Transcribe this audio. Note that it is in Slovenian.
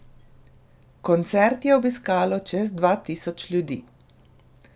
Koncert je obiskalo čez dva tisoč ljudi.